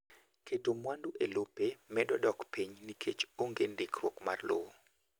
Keto mawandu e lope medo dok piny nikech onge ndikruok mar lowo.